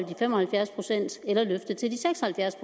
de fem og halvfjerds procent eller løftet til de seks og halvfjerds